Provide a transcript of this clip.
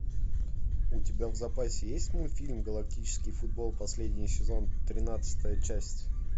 у тебя в запасе есть мультфильм галактический футбол последний сезон тринадцатая часть